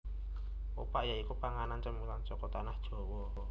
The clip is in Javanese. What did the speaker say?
Opak ya iku panganan cemilan saka Tanah Jawa